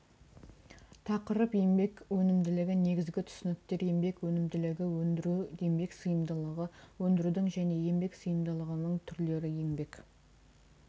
тақырып еңбек өнімділігі негізгі түсініктер еңбек өнімділігі өндіру еңбек сыйымдылығы өндірудің және еңбек сыйымдылығының түрлері еңбек